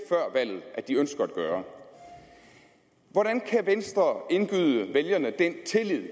at de ønsker at gøre hvordan kan venstre indgyde vælgerne den tillid